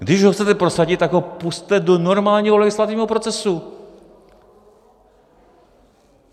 Když ho chcete prosadit, tak ho pusťte do normálního legislativního procesu.